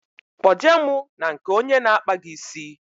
Kpo je mụ na nke onye n'akpa gi ísì